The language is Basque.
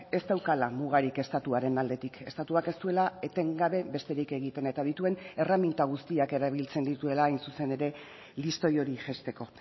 ez daukala mugarik estatuaren aldetik estatuak ez duela etengabe besterik egiten eta dituen erreminta guztiak erabiltzen dituela hain zuzen ere listoi hori jaisteko